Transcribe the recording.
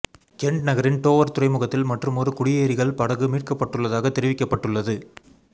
கென்ட் நகரின் டோவர் துறைமுகத்தில் மற்றுமொரு குடியேறிகள் படகு மீட்கப்பட்டுள்ளதாக தெரிவிக்கப்பட்டுள்ளத